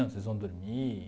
Onde vocês vão dormir?